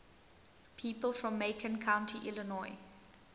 people from macon county illinois